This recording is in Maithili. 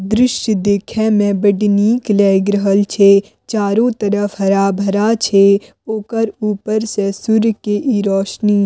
दृश्य देखे में बड़ नीक लाएग रहल छै चारो तरफ हरा-भरा छै ओकर ऊपर से सूर्य के इ रोशनी --